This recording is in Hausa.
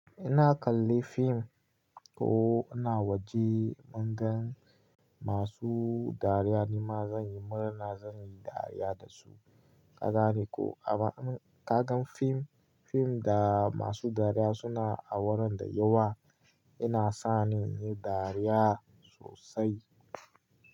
Ina kalli fim ko ina waje mun gan masu dariya nima zan yi murna zan yi dariya dasu. Kaga ne ko amma ka gan fim, fim da masu dariya suna a wurin da yawa, yana sani yin dariya sosai.